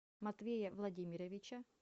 матвея владимировича